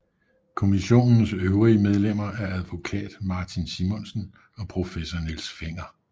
Kommissionens øvrige medlemmer er advokat Martin Simonsen og professor Niels Fenger